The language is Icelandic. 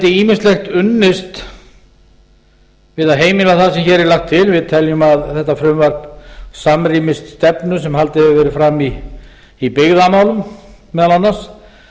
ýmislegt unnist við að heimila það sem hér er lagt til við teljum að þetta frumvarp samrýmist stefnu sem haldið hefur verið fram í byggðamálum meðal annars